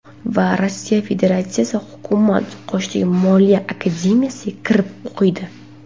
Va Rossiya Federatsiyasi Hukumati qoshidagi Moliya akademiyasiga kirib o‘qiydi.